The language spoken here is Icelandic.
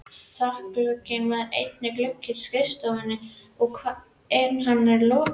Þakglugginn var eini glugginn á skrifstofunni en hann var lokaður.